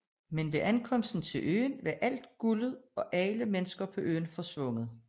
Men ved ankomsten til øen var alt guldet og alle mennesker på øen forsvundet